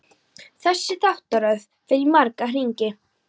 Þessi þáttaröð fer í marga hringi.